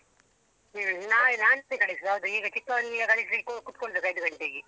ಹ್ಮ್ ನಾನ್~ ನಾನೆ ಕಲಿಸುದು ಈಗ ಚಿಕ್ಕವನಿಗೆ ಕಲಿಸ್ಲಿಕ್ಕೆ ಕುತ್ಕೊಳ್ಬೇಕು ಐದು ಗಂಟೆಗೆ.